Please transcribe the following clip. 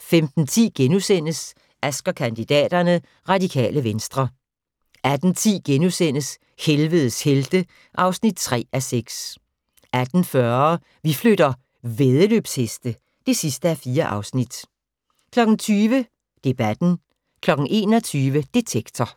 15:10: Ask & kandidaterne: Radikale Venstre * 18:10: Helvedes helte (3:6)* 18:40: Vi flytter - væddeløbsheste (4:4) 20:00: Debatten 21:00: Detektor